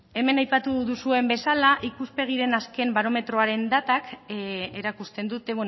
hemen aipatu duzuen bezala ikuspegiren azken barometroaren datak erakusten dute